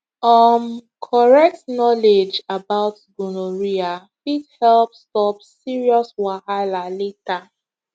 um correct knowledge about gonorrhea fit help stop serious wahala later